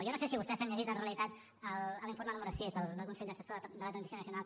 jo no sé si vostès s’han llegit en realitat l’informe número sis del consell assessor de la transició nacional